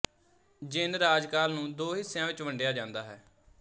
ਜਿੰਨ ਰਾਜਕਾਲ ਨੂੰ ਦੋ ਹਿੱਸਿਆਂ ਵਿੱਚ ਵੰਡਿਆ ਜਾਂਦਾ ਹੈ